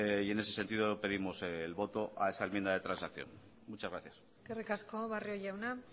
y en ese sentido pedimos el voto a esa enmienda de transacción muchas gracias eskerrik asko barrio jauna